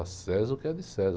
A César o que é de César.